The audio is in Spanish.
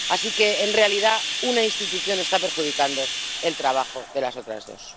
Así que, en realidad, una institución está perjudicando el trabajo de las otras dos.